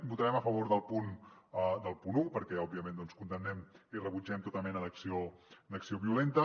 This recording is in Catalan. votarem a favor del punt un perquè òbviament doncs condemnem i rebutgem tota mena d’acció violenta